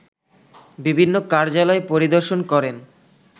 বিভিন্ন কার্যালয় পরিদর্শন করেন